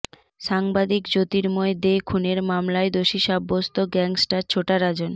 সাংবাদিক জ্যোতির্ময় দে খুনের মামলায় দোষী সাব্যস্ত গ্যাং স্টার ছোটা রাজন